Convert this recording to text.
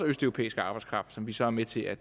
østeuropæisk arbejdskraft som vi så er med til at